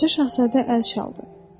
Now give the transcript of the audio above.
Balaca Şahzadə əl çaldı.